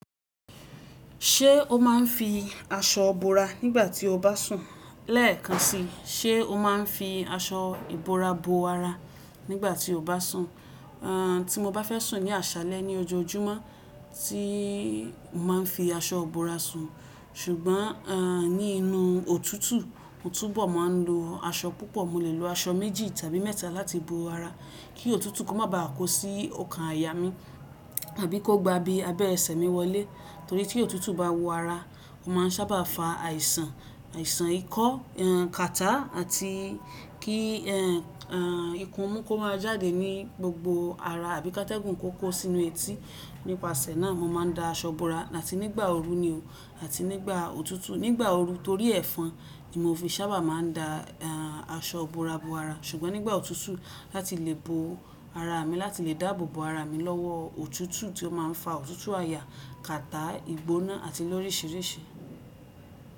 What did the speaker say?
Ṣé o máa ń fi aṣọ bora nígbà tí o bá sùn? Lẹ́ẹ̀kan si, ṣe o máa ń fi aṣọ ìbora bo ara nígbà tí o bá sùn? Àn tí mo bá fẹ́ sùn ní àṣálẹ́ ní ọjọ́ ọjúmọ́, tíìì máa ń fi aṣọ bora sùn. Ṣùgbọ́n àn ní inú òtútù, mo túbọ̀ máa ń lo aṣọ púpọ̀, mo lè lo aṣọ méjì tàbí mẹ́ta láti bo ara kí òtútù kó má ba à kó sí ọkàn aya mi tàbí kó gbá bí abẹ́ ẹsẹ̀ mi wọlé. Torí tí òtútù bá wo ara, ó máa ń sábà fa àìsàn, àìsàn ikọ́, èn kàtá àti kí ẹ́ n à ìkun mú kó máa jáde ní gbogbo ara àbí ká tẹ́gùn kó kó sínú etí. Nípasẹ̀ náà, mo máa ń da aṣọ bora láti nígbà ooru ni o láti nígbà òtútù. Nígbà ooru torí ẹ̀fọn ni mo fi sábà máa ń da aṣọ bora bo ara. Ṣùgbọ́n nígbà òtútù láti lè bo ara mi láti lè dáàbò bo ara mi lọ́wọ́ òtútù tí ó máa ń fa òtútù aya, kàtá, ìgbóná àti lórisìírìsí.